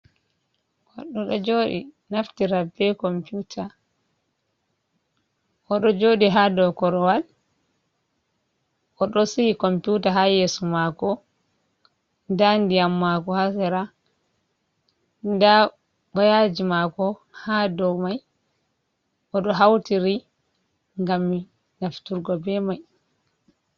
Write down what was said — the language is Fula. Goɗɗo ɗo joɗi naftira be computa, oɗo joɗi ha dou korowal oɗo si’i computa ha yeeso mako, nda ndiyam mako ha sera, nda woyaji mako ha dou mai, oɗo hautiri ngam nafturgo be mai.